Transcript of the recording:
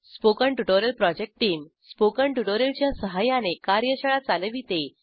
spoken tutorial project team spoken tutorial च्या सहाय्याने कार्यशाळा चालविते